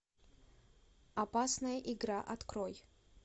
опасная игра открой